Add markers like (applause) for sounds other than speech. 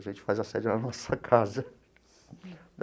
A gente faz a sede lá na nossa casa. (laughs)